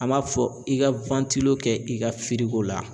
An m'a fɔ i ka kɛ i ka la.